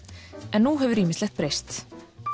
en nú hefur ýmislegt breyst